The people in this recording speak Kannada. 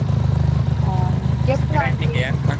ಆಹ್